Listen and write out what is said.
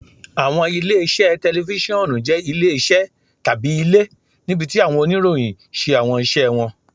Awọn ile-iṣẹ tẹlifisiọnu jẹ ile-iṣẹ tabi ile, nibiti awọn oniroyin ṣe awọn iṣẹ wọn.